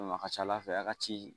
a ka ca ala fɛ a ka ci